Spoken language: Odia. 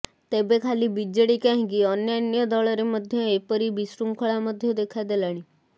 ତେବେ ଖାଲି ବିଜେଡି କାହିଁକି ଅନ୍ୟାନ୍ୟ ଦଳରେ ମଧ୍ୟ ଏପରି ବିଶୃଙ୍ଖଳା ମଧ୍ୟ ଦେଖାଦେଲାଣି